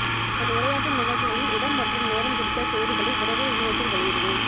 நான் உரையாற்றும் நிகழ்ச்சிகளின் இடம் மற்றும் நேரம் குறித்த செய்திகளை விரைவில் இணையத்தில் வெளியிடுவேன்